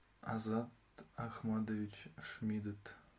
азат ахмадович шмидт